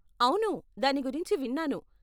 అవును, దాని గురించి విన్నాను.